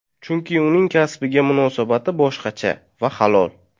Chunki uning kasbiga munosabati boshqacha va halol.